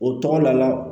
O tɔgɔ lajɛ